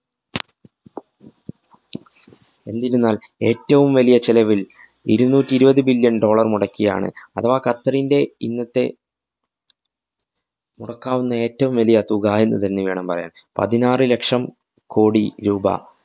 എന്നിരുന്നാല്‍ ഏറ്റവും വലിയ ചെലവില്‍ ഇരുനൂറ്റി ഇരുപതു billion dollar മുടക്കിയാണ് അഥവാ ഖത്തറിൻറെ ഇന്നത്തെ, മുടക്കാവുന്ന ഏറ്റവും വലിയ തുക എന്നുതന്നെ വേണം പറയാന്‍. പതിനാറ് ലക്ഷം കോടി രൂപ